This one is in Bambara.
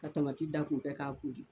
Ka dan k'u kɛ k'a kori